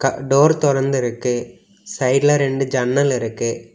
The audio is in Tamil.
டோர் தொறந்து இருக்கு சைடுல ரெண்டு ஜன்னல் இருக்கு.